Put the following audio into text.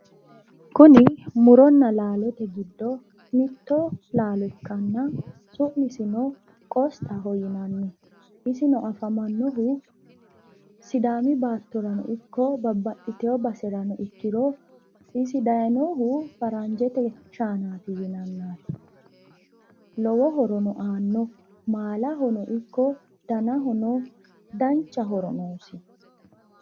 Kuni muronna laalote giddo mitto laalo ikkanna su'misino qosxaho yinanni. Isino afamannohu sidaami baattorano ikko babbaxxitino baserano ikkiro isi dayinohu faranjete shaanaati yanannaati. Lowo horono aanno. Maalahono ikko danahono dancha horo noosi.